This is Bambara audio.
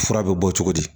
Fura bɛ bɔ cogo di